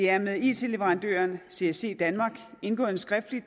er med it leverandøren csc danmark indgået en skriftlig